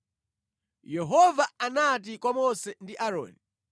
Yehova anati kwa Mose ndi Aaroni: